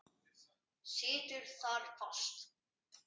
Situr þar fast.